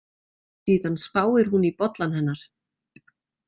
Síðan spáir hún í bollann hennar.